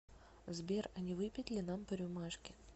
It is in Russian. сбер а не выпить ли нам по рюмашке